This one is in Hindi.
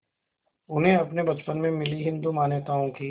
उन्हें अपने बचपन में मिली हिंदू मान्यताओं की